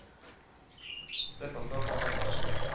Det får stå for hans regning.